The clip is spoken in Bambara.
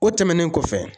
O tɛmɛnen kɔfɛ